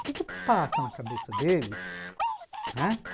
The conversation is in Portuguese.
O que que passa na cabeça deles?